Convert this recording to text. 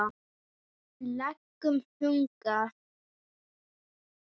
legum þunga.